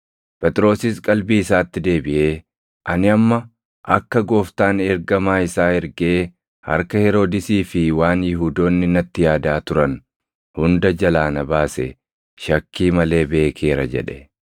Phexrosis qalbii isaatti deebiʼee, “Ani amma akka Gooftaan ergamaa isaa ergee harka Heroodisii fi waan Yihuudoonni natti yaadaa turan hunda jalaa na baase shakkii malee beekeera” jedhe.